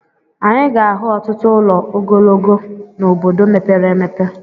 Anyị ga-ahụ ọtụtụ ụlọ ogologo n'obodo mepere emepe.